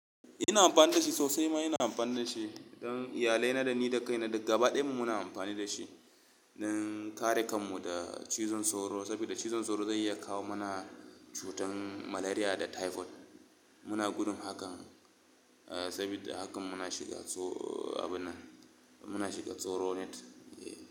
Ina amfani da shi sosai ma ina amfani da shi. Don iyalai na, ni da kai na duka gaba ɗaya mu muna amfani da shi don kare kan mu da cizon sauro. Saboda cizon sauro zai iya kawo mana cutar malaria da typhoid. Muna gudun haka, saboda haka muna shiga, abu nan, muna shiga tsoro net.